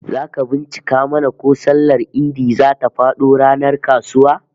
Zaka bincika mana ko sallar Idi zata fado ranar kasuwa?